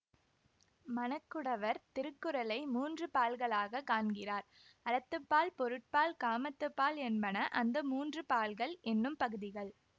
மணக்குடவர் திருக்குறளை மூன்று பால்களாகக் காண்கின்றார் அறத்துப்ப்பால் பொருட்பால் காமத்துப்பால் என்பன அந்த மூன்று பால்கள் என்னும் பகுதிகள்